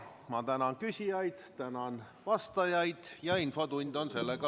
Ma tänan küsijaid, tänan vastajaid ja infotund on läbi.